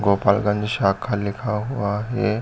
गोपाल गंज शाखा लिखा हुआ है।